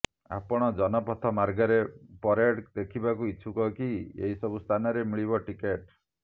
ଆପଣ ଜନପଥ ମାର୍ଗରେ ପରେଡ ଦେଖିବାକୁ ଇଛୁକ କି ଏହି ସବୁ ସ୍ଥାନରେ ମିଳିବ ଟିକେଟ